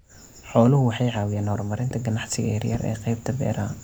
Xooluhu waxay caawiyaan horumarinta ganacsiyada yaryar ee qaybta beeraha.